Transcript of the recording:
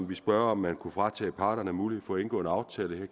ville spørge om man kunne fratage parterne mulighed for indgå en aftale her